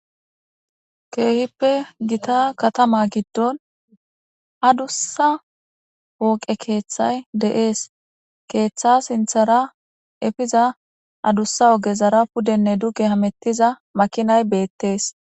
Kehipe Gita katama gidon adusa katamay de'es keetha sinthara epiza adusa ogezara pudene duge hamutiza makinay beetes